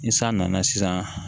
Ni san nana sisan